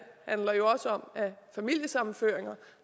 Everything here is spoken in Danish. handler jo også om at familiesammenføringer